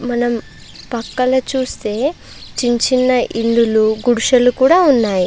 మనం పక్కలో చూస్తే చిన్న చిన్న ఇల్లులు గుడిసెలు కూడా ఉన్నాయి.